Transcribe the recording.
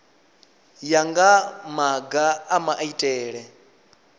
ya nga maga a maitele